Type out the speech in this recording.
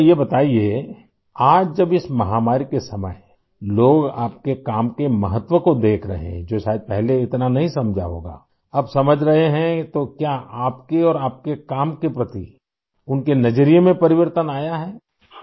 اچھا بتایئے ، آج جب لوگ اس وبائی مرض کے وقت آپ کے کام کی اہمیت کو دیکھ رہے ہیں ، جسے شاید پہلے سمجھا نہیں گیا تھا ، اب وہ سمجھ رہے ہیں ، تو کیا آپ اور آپ کے کام کے بارے میں ان کا رویہ تبدیل ہوا ہے؟